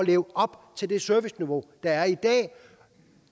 leve op til det serviceniveau der er